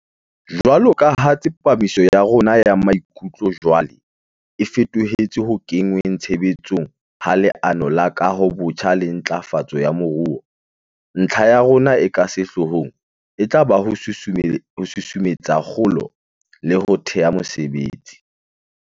Jwaloka ha tsepamiso ya rona ya maikutlo jwale e feto hetse ho kenngweng tshebe tsong ha Leano la Kahobotjha le Ntlafatso ya Moruo, ntlha ya rona e ka sehloohong e tla ba ho susumetsa kgolo le ho thea mesebetsi.